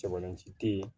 Cɛbalenci te yen